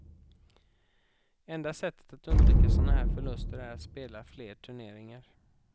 Enda sättet att undvika såna här förluster är att spela fler turneringar.